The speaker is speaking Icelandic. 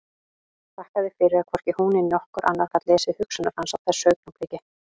Þakkaði fyrir að hvorki hún né nokkur annar gat lesið hugsanir hans á þessu augnabliki.